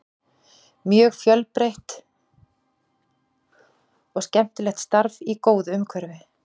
Mjög fjölbreytt og skemmtilegt starf í góðu umhverfi.